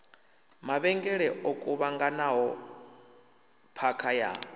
mavhengele o kuvhanganaho phakha ya